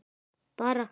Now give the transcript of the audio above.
Bara